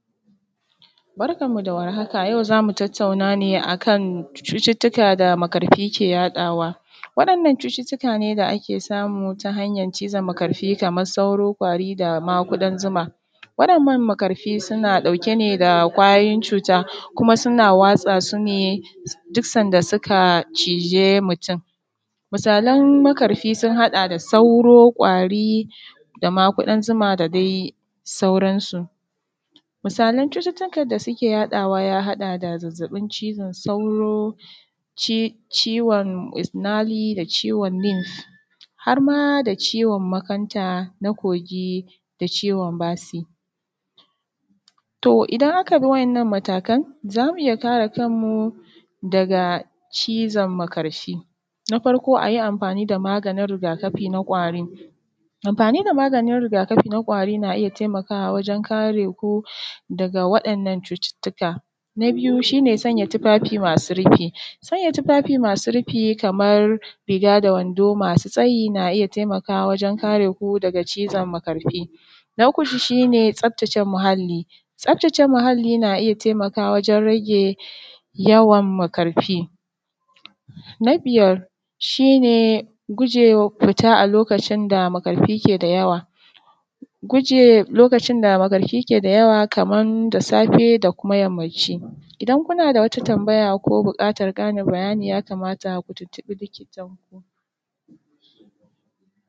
Barkanmu da warhaka. Yau za mu tattauna nee a kan cututtuka da makarfi kee yaɗawa. Wadannan cututtuka nee da ake samu ta hanyan cizon makarfi, kamar sauro, kwari da ma kudan zuma. Waɗannan makarfi suna ɗauke nee da ƙwayoyin cuta, kuma suna watsa su nee duk sanda suka cije mutum. Misalan makarfi sun haɗa da: sauro, ƙwari da ma ƙudan zuma da dai sauransu. Misalan cututtukan da suke yaɗawa ya haɗa dazazzaɓin cizon sauro, ciwon nail da nif, har ma da ciwon makanta na kogi da ciwon basi. To idan aka bi wa’yanan matakan, za mu iya kare kanmu daga cizon makarfi: Na farko a yi amfani da maganin rigakafi na ƙwari. Amfani da maganin rigakafi na ƙwari na iya taimakawa wajen kare ku, daga waɗannan cututtuka. Na biyu shi ne sanya tufafi masu rufi sanya tufafi masu rufi kamar riga da wando masu tsayi. Na iya taimakawa wajen kare ku daga cizon makarfi. Na uku shi nee tsaftace muhalli. Tsaftace muhalli na iya taimakawa wajen rage, yawan makarfi. Na biyar shi ne guje wa fita a lokacin da makarfi kee da yawa. Guje lokacin da makarfi ke da yawa kaman da safe da kuma yammaci. Idan kuna da wata tambaya, ko buƙatan ƙarin bayani, ya kamata ku tuntuɓi likitanku.